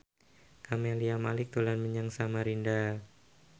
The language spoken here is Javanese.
Camelia Malik dolan menyang Samarinda